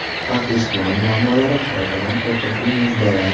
Hafta ijtimoiy muammolari: Xarobadan qo‘rqinchli mujdalar.